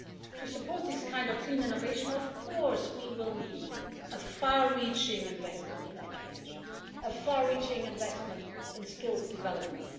To support this kind of clean innovation, of course we will need a far-reaching investment in education, a far-reaching investment in skills development.